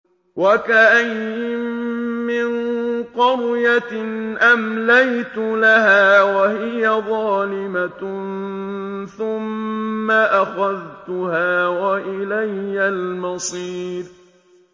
وَكَأَيِّن مِّن قَرْيَةٍ أَمْلَيْتُ لَهَا وَهِيَ ظَالِمَةٌ ثُمَّ أَخَذْتُهَا وَإِلَيَّ الْمَصِيرُ